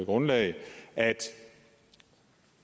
grundlag at